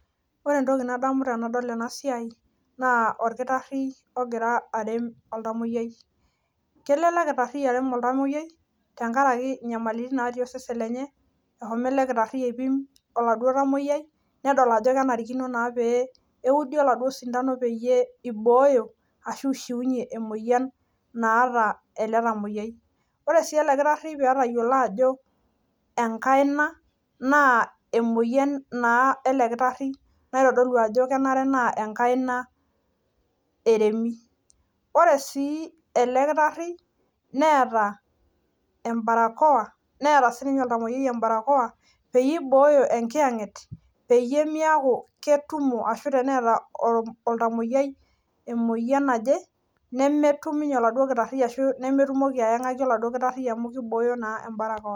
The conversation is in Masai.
Ore entoki nadamu tenadol ena siai naa orkitari ogira arem olntamuoyiai kelo ele kitarii arem olntamuoyiai tenkaraki nyamalitin natii osesen lenye etang'asa aipim oladuo tamuoyiai nedol Ajo kenarikino neudi oladuo sindano pee eboyoo ashu eshiunyie emoyian naata ele tamuoyiai ore sii lee dakitarini pee etayiolo Ajo enkaina naa emoyian naa ele kitarii naitodolu Ajo kenare naa enkaina eremi ore sii enkae toki ore sii ele kitarii netaa ebarakowa netaa sininye olntamuoyiai ebarakowa pee eiboyoo enkiyenget lee meeku ketumoki ashu tenemeta olntamuoyiai emoyian naaje nemetum oladuo kitarii ashu nemetumoki ayangaki amu kibooyo ebarakowa